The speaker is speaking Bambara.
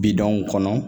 Bidenw kɔnɔ